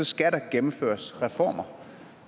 skal der gennemføres reformer